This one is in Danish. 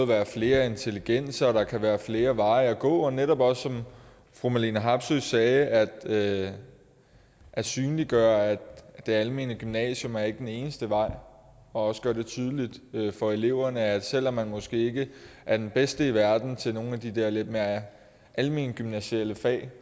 være flere intelligenser og der kan være flere veje at gå og netop også som fru marlene harpsøe sagde at at synliggøre at det almene gymnasium ikke er den eneste vej og også gøre det tydeligt for eleverne at selv om man måske ikke er den bedste i verden til nogle af de der lidt mere alment gymnasiale fag